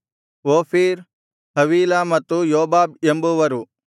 Ophir Havilah ಮತ್ತು Jobab ಎಂಬುವರು